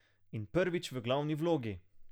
In prvič v glavni vlogi!